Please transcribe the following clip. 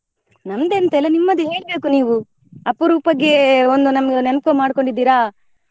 ನಮ್ದು ಎಂತ ಇಲ್ಲ ನಿಮ್ಮದು ಹೇಳ್ಬೇಕು ನೀವು ಅಪರೂಪಕ್ಕೆ ಒಂದು ನಮ್ಗೆ ನೆನಪು ಮಾಡಿದ್ದೀರಾ.